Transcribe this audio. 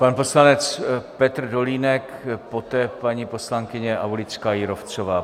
Pan poslanec Petr Dolínek, poté paní poslankyně Aulická Jírovcová.